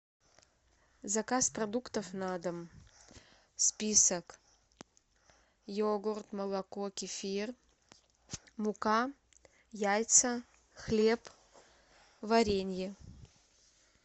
заказ продуктов на дом список йогурт молоко кефир мука яйца хлеб варенье